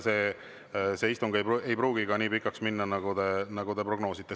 See istung ei pruugi minna nii pikaks, nagu te prognoosite.